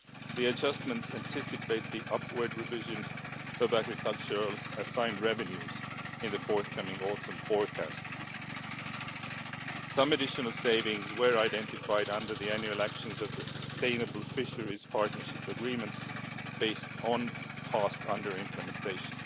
The adjustments anticipate the upward revision of agricultural assigned revenues in the forthcoming autumn forecast. Some additional savings were identified under the annual actions of the sustainable fisheries partnership agreements based on past under-implementation.